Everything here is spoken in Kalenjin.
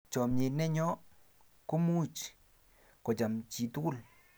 chamiet ne nyo ko imuch kocham chii tukul